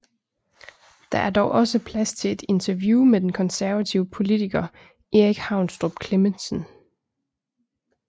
Der er dog også plads til et interview med den konservative politiker Erik Haunstrup Clemmensen